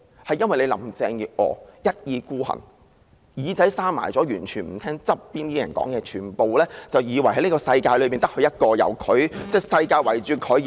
就是由於林鄭月娥一意孤行，把耳朵緊閉起來，完全不聽旁邊的人勸諭，以為這個世界只有她一人，整個世界便是圍繞着她而轉。